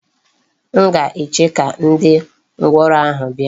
M ga-eche ka ndi ngworo ahu bia.